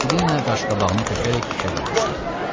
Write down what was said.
Katilina qaşqabağını tökərək fikrə dalmışdı.